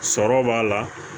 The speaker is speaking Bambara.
Sɔrɔ b'a la